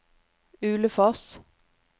Ulefoss